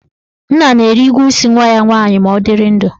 Nna na-eri ụgwọ isi nwa ya nwaanyị ma ọ dịrị ndụ.